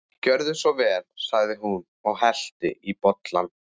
Gjörðu svo vel sagði hún og hellti í bollana.